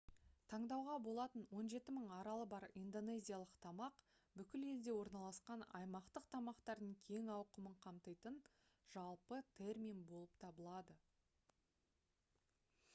таңдауға болатын 17 000 аралы бар индонезиялық тамақ бүкіл елде орналасқан аймақтық тамақтардың кең ауқымын қамтитын жалпы термин болып табылады